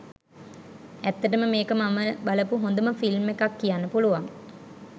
ඇත්තටම මේක මම බලපු හොඳම ෆිල්ම් එකක් කියන්න පුලුවන්.